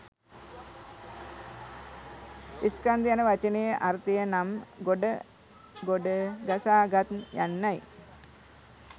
ස්කන්ධ යන වචනයේ අර්ථය නම් ගොඩ ගොඩ ගසාගත් යන්නයි.